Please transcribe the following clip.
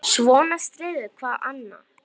Svona styður hvað annað.